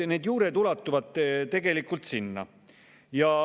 Need juured ulatuvad tegelikult sinna.